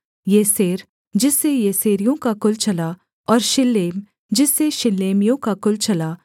Jezer जिससे येसेरियों का कुल चला और शिल्लेम जिससे शिल्लेमियों का कुल चला